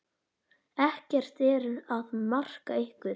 Ekkert er að marka ykkur.